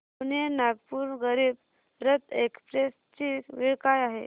Pune Nagpur Garib Rath express ची वेळ काय आहे